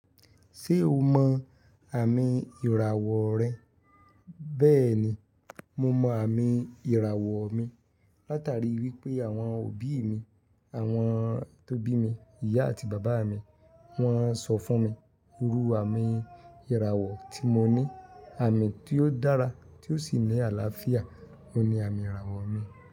Ṣé o mọ àmì ìràwọ̀ rẹ? Bẹ́ẹ̀ni, mo mọ àmì ìràwọ̀ mi. Látàrí wípé àwọn òbí mi, àwọn tó bí mi, ìyá àti bàbá mi, wọ́n sọ fún mi irú àmì ìràwọ̀ tí moní. Àmì tí ó dára tí ó sì ní àlàáfíà oun ni àmì ìràwọ̀ mi.